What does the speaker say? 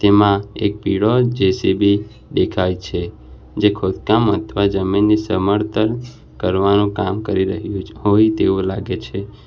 એમાં એક પીળો જે_સી_બી દેખાય છે જે ખોદકામ અથવા જમીનને સમળતલ કરવાનું કામ કરી રહ્યું છે હોય તેવું લાગે છે.